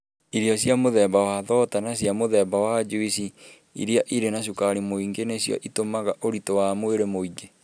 Irio cia mũthemba wa thonda na cia mũthemba wa juici iria irĩ na cukari mũingĩ nĩcio itũmaga ũritũ wa mwĩrĩ mũingĩ.